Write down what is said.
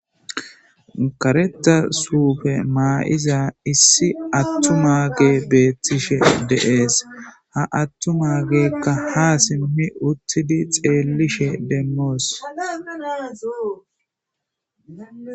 Gareta suufe maa'iza issi attuma ge beettishe deees ha attuma geekka ha simmi uttidi xeellishe dennoos.